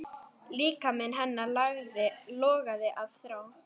Líkami hennar logaði af þrá.